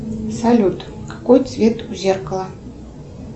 салют какой цвет у зеркала